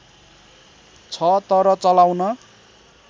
छ तर चलाउन